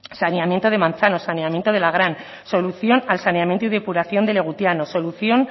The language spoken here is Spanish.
saneamiento de manzanos saneamiento de lagran solución al saneamiento y depuración de legutiano solución